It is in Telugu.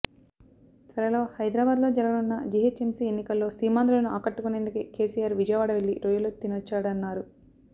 త్వరలో హైదరాబాదులో జరగనున్న జీహెచ్ఎంసీ ఎన్నికల్లో సీమాంధ్రులను ఆకట్టుకునేందుకే కేసీఆర్ విజయవాడ వెళ్లి రొయ్యలు తినొచ్చాడన్నారు